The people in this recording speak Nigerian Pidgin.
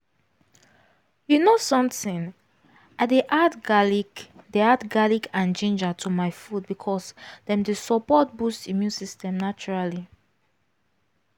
you know something i dey add garlic dey add garlic and ginger to my food because dem dey support boost immune system naturally